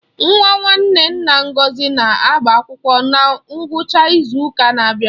Nwa nwanne nna Ngọzi na-agbaakwụkwọ na ngwụcha ịzu ụka na-abịa.